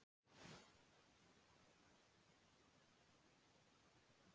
Hann var ekki bitur, en ákaflega dapur yfir misgengi mannlegra örlaga.